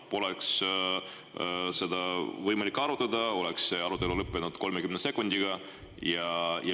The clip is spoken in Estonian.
Poleks seda olnud võimalik arutada, oleks see lõppenud 30 sekundiga.